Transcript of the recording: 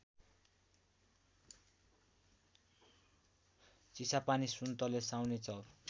चिसापानी सुन्तले साउनेचउर